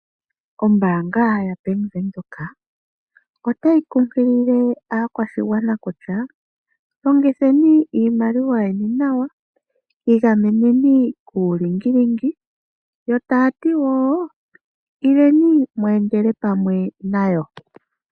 Ombaanga ya Bank Windhoek otayi kunkilile aakwashigwana kutya longitheni iimaliwa yeni nawa, igameneni kuulingilingi yo taya ti wo ileni mu endele pamwe nayo.